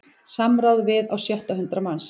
Samráð við á sjötta hundrað manns